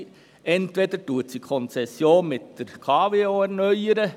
Entweder wird die Konzession mit der KWO erneuert.